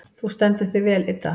Þú stendur þig vel, Idda!